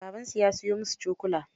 Babansu ya siyo musu cokula.